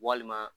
Walima